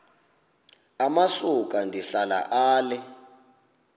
amasuka ndihlala ale